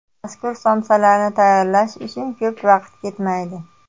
Mazkur somsalarni tayyorlash uchun ko‘p vaqt ketmaydi.